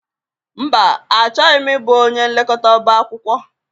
Mba, Achọghị m ịbụ onye nlekọta ọbá akwụkwọ.